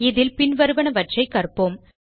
இதில் பின்வருவனவற்றை கற்போம்